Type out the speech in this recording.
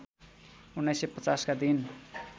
१९५० का दिन